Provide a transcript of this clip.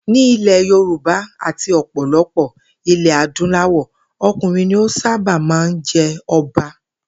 Ní ilè̩ Yorùbá àti ò̩pò̩lo̩pò̩ ilè̩ adúláwò̩, o̩kùnrin ni ó sábà máa ń je̩ o̩ba